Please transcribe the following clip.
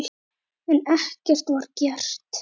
En ekkert var gert.